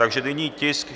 Takže nyní tisk